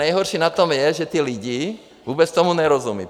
Nejhorší na tom je, že ti lidé vůbec tomu nerozumí.